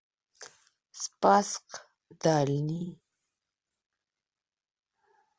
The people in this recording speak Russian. спасск дальний